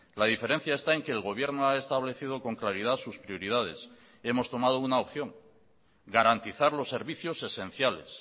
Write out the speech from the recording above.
la diferencia está en que el gobierno ha establecido con claridad sus prioridades y hemos tomado una opción garantizar los servicios esenciales